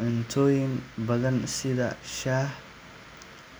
cuntooyin badan sida shaah.